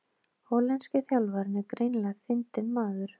Hollenski þjálfarinn er greinilega fyndinn maður